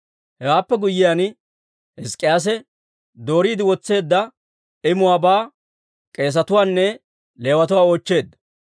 Hewaappe guyyiyaan, Hizk'k'iyaase dooriide wotseedda imuwaabaa k'eesetuwaanne Leewatuwaa oochcheedda.